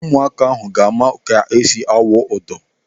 Ụmụaka ahụ ha ma ka esi awụ ụdọ?